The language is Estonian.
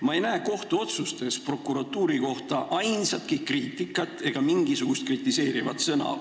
Ma ei näe kohtuotsustes prokuratuuri kohta vähimatki kriitikat, ei ühtki kritiseerivat sõna.